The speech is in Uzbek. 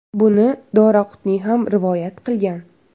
(Buni Doraqutniy ham rivoyat qilgan).